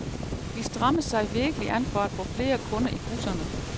De strammer sig virkelig an for at få flere kunder i busserne.